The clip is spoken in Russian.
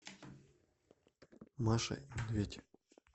маша и медведь